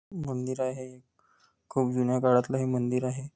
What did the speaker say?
मंदिर आहे एक खूप जुन्या काळातलं हे मंदिर आहे.